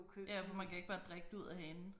Ja for man kan ikke bare drikke det ud af hanen